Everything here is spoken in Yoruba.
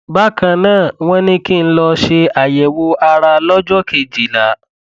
bákan náà wọn ní kí n lọ ṣe àyẹwò ara lọjọ kejìlá